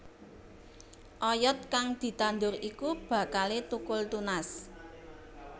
Oyod kang ditandur iku bakalé thukul tunas